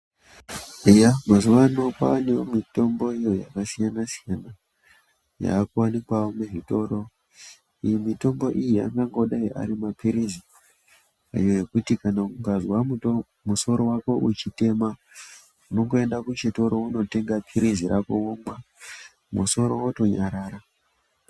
Eya mazuvano kwava nemitomboyo yakasiyana siyana yakuwanikwawo muzvitoro iyi mitombo iyi angangodai arima pirizi iyo yekuti kana ukazwa musoro wako uchitema unongoenda kuchitoro wonotenga pirizi rako womwa musoro wotonyarara.